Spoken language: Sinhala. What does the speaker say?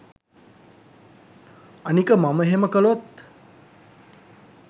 අනික මම එහෙම කළොත්